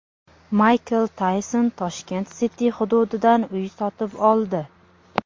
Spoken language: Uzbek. Mayk Tayson Tashkent City hududidan uy sotib oldi.